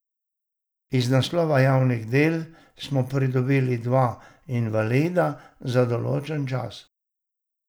Iz naslova javnih del smo pridobili dva invalida za določen čas.